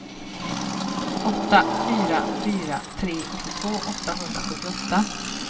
åtta fyra fyra tre åttiotvå åttahundrasjuttioåtta